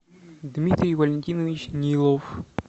дмитрий валентинович нилов